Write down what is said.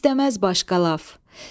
İstəməz başqa laf.